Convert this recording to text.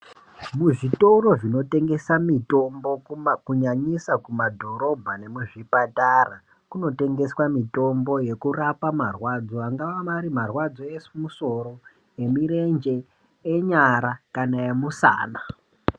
Muzvitoro zvinotengesa mitombo kuma, kunyanyisa kumadhorobha nemuzvipatara kunotengeswa mitombo yekurapa marwadzo, angava ari marwadzo emusoro, emirenje, enyara kana emusana.